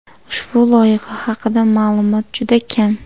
Ushbu loyiha haqida ma’lumot juda kam.